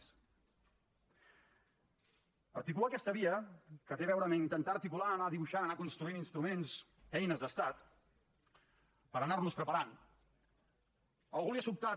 articular aquesta via que té a veure amb intentar articular anar dibuixant anar construint instruments eines d’estat per anar nos preparant a algú li ha sobtat